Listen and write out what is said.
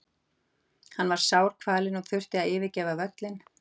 Hann var sárkvalinn og þurfti að yfirgefa völlinn.